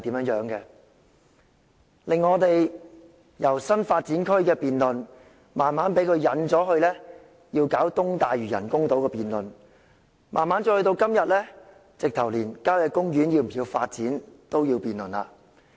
施政報告的辯論內容由新發展區，逐漸被他誘導至中部水域人工島，慢慢到了今天，連郊野公園是否需要發展也要辯論。